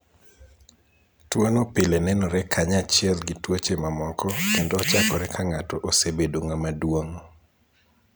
Tuwo no pile nenore kanyachiel gi tuoche mamoko kendo ochakore ka ng'ato osebedo ng'ama duong '.